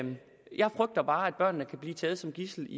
børnene kan blive taget som gidsel